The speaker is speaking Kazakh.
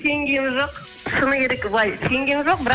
сенгенім жоқ шыны керек былай сенгенім жоқ бірақ